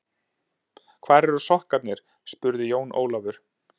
Hvar eru sokkarnir spurði Jón Ólafur.